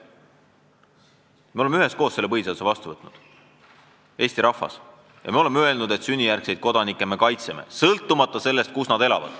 Eesti rahvas on üheskoos selle põhiseaduse vastu võtnud ja me oleme öelnud, et sünnijärgseid kodanikke me kaitseme, sõltumata sellest, kus nad elavad.